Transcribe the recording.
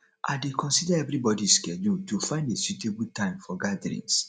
i dey consider everybody schedule to find a suitable time for gatherings